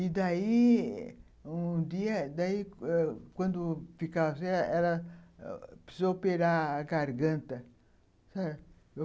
E daí, um dia, daí, quando ficava assim, ela precisou operar a garganta, sabe?